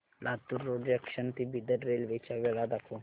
Latur road junction ते Bidar railway च्या वेळा दाखव